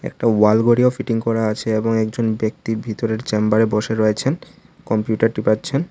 একটা ওয়াল ঘড়িও ফিটিং করা আছে এবং একজন ব্যক্তি ভিতরের চেম্বার -এ বসে রয়েছেন কম্পিউটার টিপাচ্ছেন।